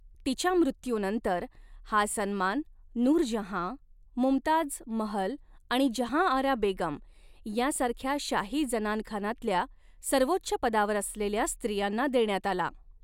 तिच्या मृत्यूनंतर, हा सन्मान नूरजहाँ, मुमताज महल आणि जहांआरा बेगम यांसारख्या शाही जनानखानातल्या सर्वोच्च पदावर असलेल्या स्त्रियांना देण्यात आला.